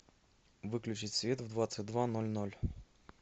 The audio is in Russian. выключить свет в двадцать два ноль ноль